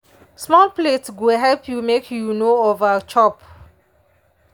small plate go help you make you no over chop.